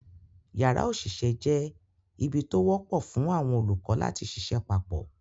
Yàrá òṣìṣẹ́ jẹ́ ibi tó wọ́pọ̀ fún àwọn olùkọ́ láti ṣiṣẹ́ papọ̀